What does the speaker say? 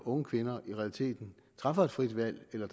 unge kvinder i realiteten træffer et frit valg eller